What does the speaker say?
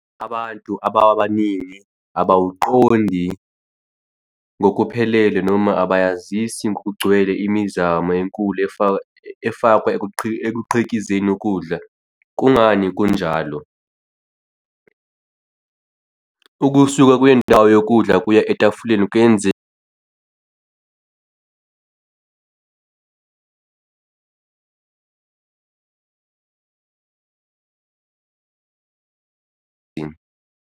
Abantu abaningi abawuqondi ngokuphelele noma abayazisi ngokugcwele imizamo enkulu efaka efakwa ekuqhikizeni ukudla. Kungani kunjalo? Ukusuka kwendawo yokudla kuya etafuleni kuyenza.